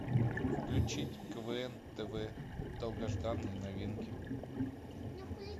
включить квн тв долгожданные новинки